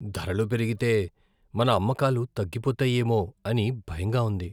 ధరలు పెరిగితే మన అమ్మకాలు తగ్గిపోతాయేమో అని భయంగా ఉంది.